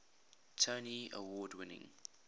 tony award winning